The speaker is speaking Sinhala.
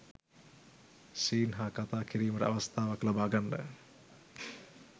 සීන් හා කතා කිරීමට අවස්ථාවක් ලබා ගන්න